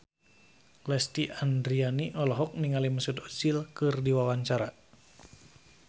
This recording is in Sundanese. Lesti Andryani olohok ningali Mesut Ozil keur diwawancara